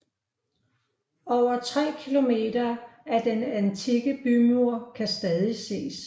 Over tre km af den antikke bymur kan stadigvæk ses